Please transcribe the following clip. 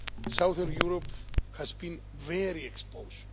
southern Europe has been very exposed.